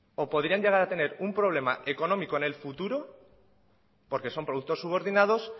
o podrían llegar a tener un problema económico en el futuro porque son productos subordinados